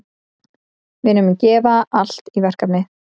Við munum gefa allt í verkefnið.